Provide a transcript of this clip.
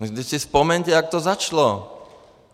Vždyť si vzpomeňte, jak to začalo.